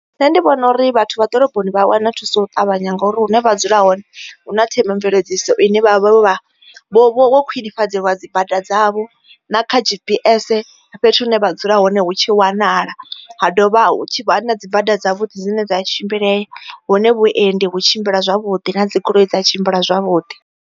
Nṋe ndi vhona uri vhathu vha ḓoroboni vha wana thuso u ṱavhanya ngori hune vha dzula hone hu na themamveledziso ine vha vha vha vho vha vho khwinifhadzelwa dzi bada dzavho na kha G_P_S fhethu hune vha dzula hone hu tshi wanala ha dovha hu tshi vha hu na dzibada dzavhuḓi dzine dza tshimbile hune vhuendi hu tshimbila zwavhudi na dzigoloi dza tshimbila zwavhuḓi.